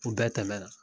U bɛɛ tɛmɛna